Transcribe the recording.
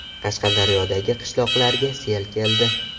Qashqadaryodagi qishloqlarga sel keldi .